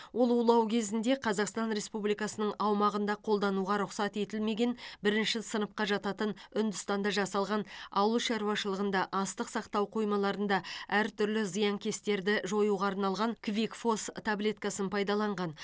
ол улау кезінде қазақстан республикасының аумағында қолдануға рұқсат етілмеген бірінші сыныпқа жататын үндістанда жасалған ауылшаруашылығында астық сақтау қоймаларында әртүрлі зиянкестерді жоюға арналған квикфос таблеткасын пайдаланған